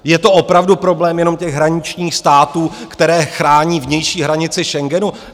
Je to opravdu problém jenom těch hraničních států, které chrání vnější hranici Schengenu?